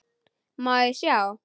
Má ég sjá?